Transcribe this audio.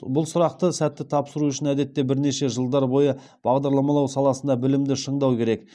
бұл сұрақты сәтті тапсыру үшін әдетте бірнеше жылдар бойы бағдарламалау саласында білімді шыңдау керек